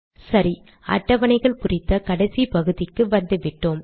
சரி அட்டவணைகள் குறித்த கடைசி பகுதிக்கு வந்துவிட்டோம்